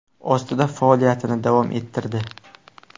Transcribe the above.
ostida faoliyatini davom ettirdi.